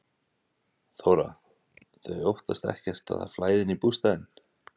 Þóra: Þau óttast ekkert að það flæði inn í bústaðinn?